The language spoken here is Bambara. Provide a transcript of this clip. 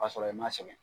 Ka sɔrɔ i ma sɛgɛn